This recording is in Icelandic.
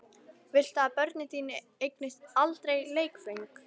Viltu að börnin þín eignist aldrei leikföng?